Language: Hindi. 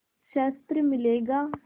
शस्त्र मिलेगा